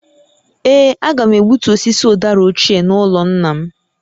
Ee, a ga m egbutu osisi ụdara ochie n’ụlọ nna m